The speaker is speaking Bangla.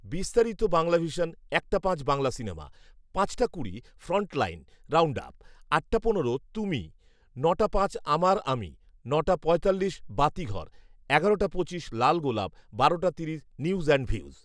বিস্তারিত বাংলাভিশন একটা পাঁচ বাংলা সিনেমা পাঁচটা কুড়ি ফ্রন্ট লাইন রাউন্ডআপ আটটা পনেরো তুমি নটা পাঁচ আমার আমি নটা পঁয়তাল্লিশ বাতিঘর এগারোটা পঁচিশ লাল গোলাপ বারোটা তিরিশ নিউজ অ্যান্ড ভিউজ